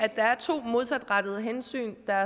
der er to modsatrettede hensyn der